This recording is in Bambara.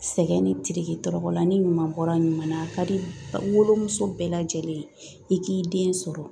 Sɛgɛn ni tiriki tɔrɔkɔ la ni ɲuman bɔra ɲuman na a ka di wolomuso bɛɛ lajɛlen ye i k'i den sɔrɔ